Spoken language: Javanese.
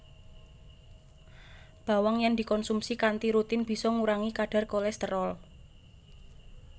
Bawang yèn dikonsumsi kanthi rutin bisa ngurangi kadhar kolèsterol